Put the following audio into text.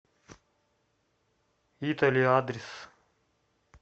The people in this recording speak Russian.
итали адрес